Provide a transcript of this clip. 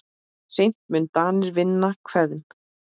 Seint munu Danir vinna Hveðn.